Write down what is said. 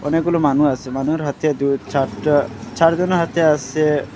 অনেকগুলো মানু আসে মানুর হাতে দুই চারটা চার জনের হাতে আসে --